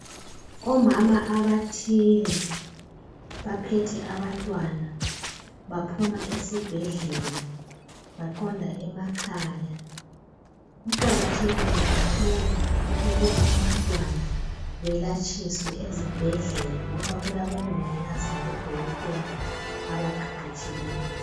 Omama abathile baphethe abantwana baphuma esibhedlela baqonda emakhaya, kuqakathekile kakhulu ukuba bantwana belatshiswe esibhedlela ngoba kulabo mongikazi labo dokotela abaqeqetshileyo.